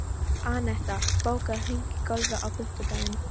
Annetta, bókaðu hring í golf á fimmtudaginn.